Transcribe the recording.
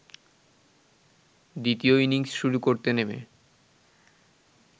দ্বিতীয় ইনিংস শুরু করতে নেমে